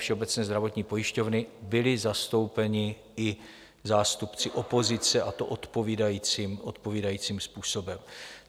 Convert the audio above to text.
Všeobecné zdravotní pojišťovny byli zastoupeni i zástupci opozice, a to odpovídajícím způsobem.